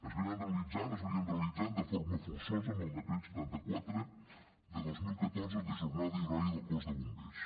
es realitzaven de forma forçosa amb el decret setanta quatre dos mil catorze de jornada i horaris del cos de bombers